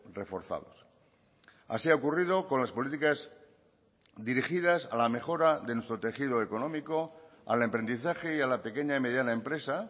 reforzados así ha ocurrido con las políticas dirigidas a la mejora de nuestro tejido económico al emprendizaje y a la pequeña y mediana empresa